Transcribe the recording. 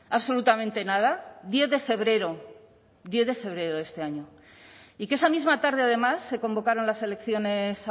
absolutamente nada diez de febrero diez de febrero de este año y que esa misma tarde además se convocaron las elecciones